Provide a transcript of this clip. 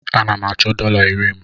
Ana m achọ dọla iri m.